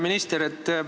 Hea minister!